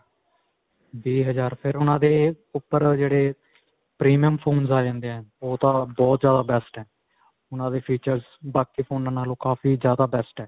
ਵੀਹ ਹਜ਼ਾਰ ਫਿਰ ਓਹਨਾਂ ਦੇ ਉਪਰ ਜਿਹੜੇ premium phones ਆ ਜਾਂਦੇ ਹੈ. ਓਹ ਤਾਂ ਬਹੁਤ ਜਿਆਦਾ best ਹੈ. ਉਨ੍ਹਾਂ ਦੇ features ਬਾਕੀ phones ਨਾਲੋ ਕਾਫ਼ੀ ਜਿਆਦਾ best ਹੈ.